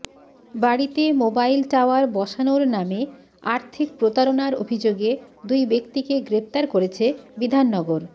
বাড়িতে mobile tower বসানোর নামে আর্থিক প্রতারণার অভিযোগে দুই ব্যক্তিকে গ্রেফতার করেছে বিধাননগর